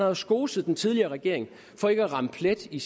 jo skoset den tidligere regering for ikke at ramme plet i